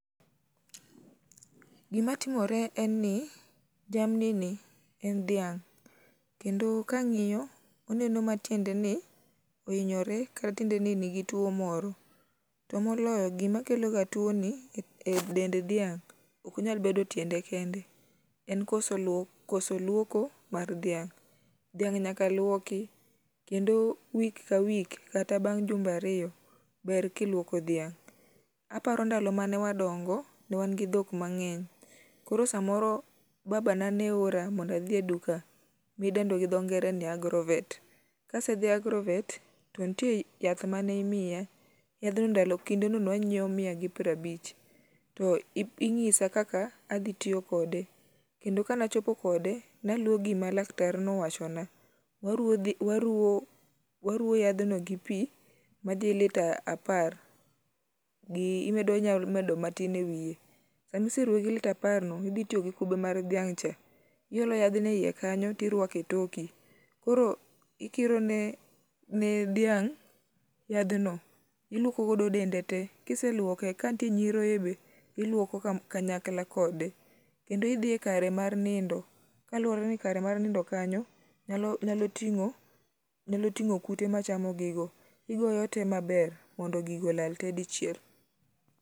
Gimatimore en ni jamnini en dhiang' kendo kang'iyo, oneno ma tiendeni ohinyore kata tiendeni nigi tuwo moro, to moloyo gima kelo ga tuwoni e dend dhiang' ok onyal tiende kende, en koso lwoko mar dhaing'. Dhiang' nyaka lwoki, kendo wik ka wik kata bang' jumbe ariyo ber kilwoko dhiang' .Aparo ndalo mane wadongo, ne wan gi dhok mang'eny, koro samoro babana ne ora, mondo adhi e duka, midendo gi dhongere ni agrovet, kase dhi e agrovet to nitie yath mane imiya, yadhno ,kindeno je wanyiewo miya gi prabich, to inyisa kaka adhi tiyo kode, kendo kanachopo kode, naluwo gi ma laktarno owachona. Ne waruwo yadhno gi pi madhi lita apar, inyamedo matin e wiye. Sami seruwe gi lita aparno, idhi tiyo gi kube mar dhiang'cha, iolo yadhno e iye kanyo tirwako e toki, koro ikirone dhiang' yadhno ,ilwoko godo dende te, kiselwoke, kanitie nyiroye be, ilwoko kanyakla kode. Kendo idhi e kare mar nindo, kaluwore ni kare mar nindo kanyo nyalo ting'o kute machamo gigo, igoyote maber mondo gigo olal te dichiel.